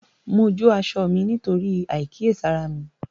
Mo jó aṣọ mí nítorí àìkíyèsára mi